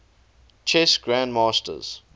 chess grandmasters